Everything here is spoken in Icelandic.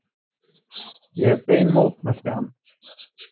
Ég hef bein mótmælti hann.